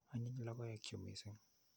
Anyiny logoek chu missing'.